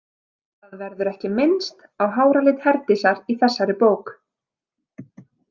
Það verður ekki minnst á háralit Herdísar í þessari bók.